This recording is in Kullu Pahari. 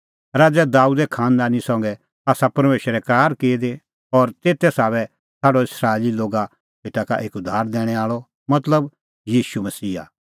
राज़ै दाबेदे ई खांनदानी संघै आसा परमेशरै करार की दी और तेते साबै छ़ाडअ इस्राएली लोगा सेटा एक उद्धार दैणैं आल़अ मतलब ईशू मसीहा